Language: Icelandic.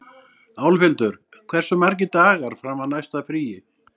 Álfhildur, hversu margir dagar fram að næsta fríi?